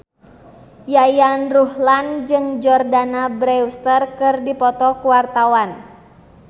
Yayan Ruhlan jeung Jordana Brewster keur dipoto ku wartawan